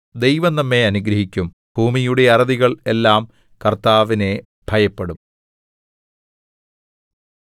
ദൈവം നമ്മെ അനുഗ്രഹിക്കും ഭൂമിയുടെ അറുതികൾ എല്ലാം കർത്താവിനെ ഭയപ്പെടും